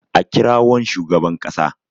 a kirawon shugaban kasa!